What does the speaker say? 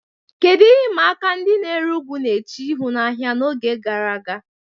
Kedu ihe ịma aka ndị na-ere ugu na-eche ihu n'ahịa n'oge gara aga?